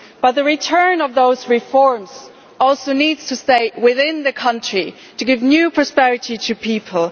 The returns from those reforms also needs to stay within the country to give new prosperity to people.